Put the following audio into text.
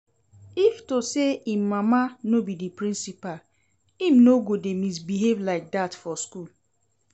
If to say im mama no be the principal im no go dey misbehave like dat for school